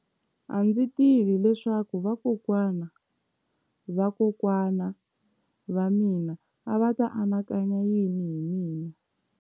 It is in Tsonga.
A ndzi tivi leswaku vakokwana-va-vakokwana va mina a va ta anakanya yini hi mina.